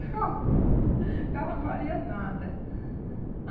O carro O carro não valia nada.